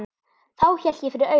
Þá hélt ég fyrir augun.